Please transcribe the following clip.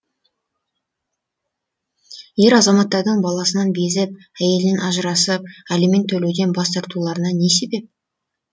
ер азаматтардың баласынан безіп әйелінен ажырасып алимент төлеуден бас тартуларына не себеп